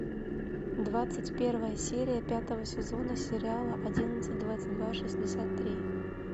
двадцать первая серия пятого сезона сериала одиннадцать двадцать два шестьдесят три